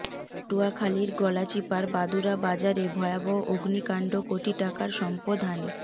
পটুয়াখালীর গলাচিপার বাদুরা বাজারে ভয়াবহ অগ্নিকান্ড কোটি টাকার সম্পদ হানী